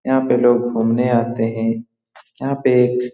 यहाँ पे लोग घूमने आते है। यहाँ पे एक --